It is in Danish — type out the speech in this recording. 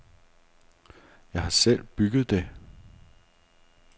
Jeg har selv bygget det.